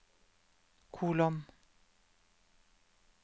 kolon